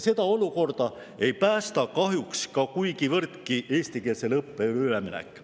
Seda olukorda kahjuks ei päästa kuigivõrdki ka eestikeelsele õppele üleminek.